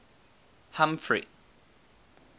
humphrey